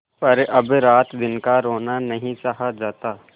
पर अब रातदिन का रोना नहीं सहा जाता